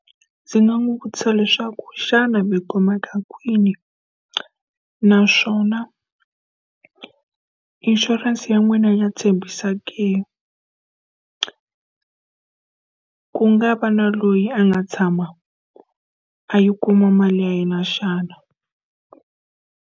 Ndzi nga n'wi vutisa leswaku xana mi kumeka kwini naswona, inshurense ya n'wina ya tshembisa ke? Ku nga va na loyi a nga tshama a yi kuma mali ya yena xana?